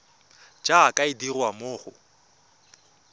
jaaka e dirwa mo go